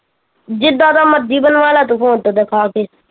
ਜਿੱਦਾ ਦਾ ਮਰਜ਼ੀ ਬਣਵਾ ਲਾ ਤੂੰ phone ਤੋਂ ਦਿਖਾ ਕੇ